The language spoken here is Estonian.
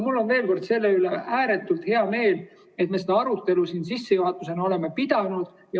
Veel kord: mul on selle üle ääretult hea meel, et me seda arutelu siin sissejuhatuseks oleme pidanud.